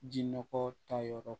Ji nɔgɔ ta yɔrɔ